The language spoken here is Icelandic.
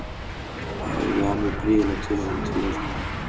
Ég hafði alveg prýðilegt tilefni til þess núna.